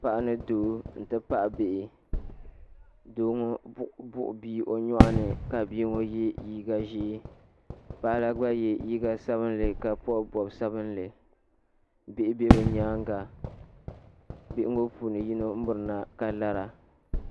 Paɣa ni doo n ti pahi bihi doo ŋɔ buɣu bia o yɔɣu ni ka bia ŋɔ ye liiga zɛɛ paɣa la gba ye liiga sabinli ka bɔbi bɔbiga sabinli bihi bɛ bi yɛanga bihi ŋɔ puuni yino miri na ka lara.